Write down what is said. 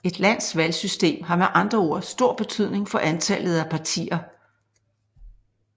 Et lands valgsystem har med andre ord stor betydning for antallet af partier